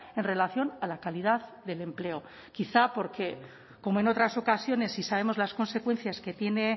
en relación a la calidad del empleo quizá porque como en otras ocasiones si sabemos las consecuencias que tiene